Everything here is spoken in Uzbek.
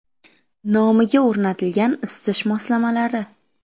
Nomiga o‘rnatilgan isitish moslamalari.